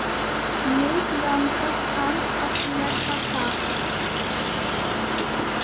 Mig langar samt að lesa það.